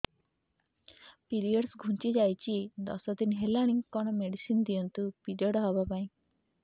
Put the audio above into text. period ଘୁଞ୍ଚି ଯାଇଛି ଦଶ ଦିନ ହେଲାଣି କଅଣ ମେଡିସିନ ଦିଅନ୍ତୁ ପିରିଅଡ଼ ହଵା ପାଈଁ